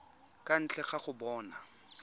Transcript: kwa ntle ga go bona